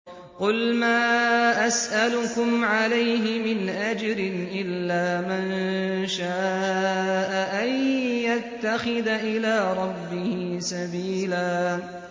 قُلْ مَا أَسْأَلُكُمْ عَلَيْهِ مِنْ أَجْرٍ إِلَّا مَن شَاءَ أَن يَتَّخِذَ إِلَىٰ رَبِّهِ سَبِيلًا